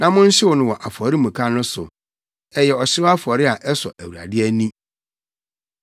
na monhyew no wɔ afɔremuka no so; ɛyɛ ɔhyew afɔre a ɛsɔ Awurade ani.